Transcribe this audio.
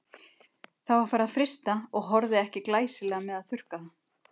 Það var farið að frysta og horfði ekki glæsilega með að þurrka það.